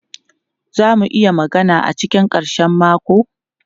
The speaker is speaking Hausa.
Za mu iya magana a cikin karshen mako?